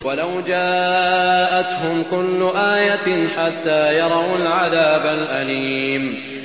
وَلَوْ جَاءَتْهُمْ كُلُّ آيَةٍ حَتَّىٰ يَرَوُا الْعَذَابَ الْأَلِيمَ